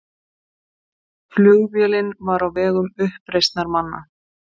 Flugvélin var á vegum uppreisnarmanna